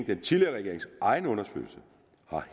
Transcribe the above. den tidligere regerings egen undersøgelse